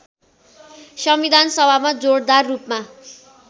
संविधानसभामा जोडदार रूपमा